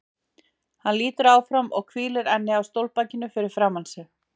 Hann lýtur áfram og hvílir ennið á stólbakinu fyrir framan sig.